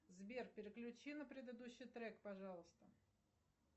сбер переключи на предыдущий трек пожалуйста